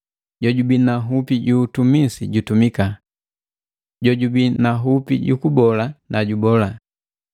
Jojubii na nhupi ju utumisi jutumika. Jojubi na nhupi jukubola na jubola.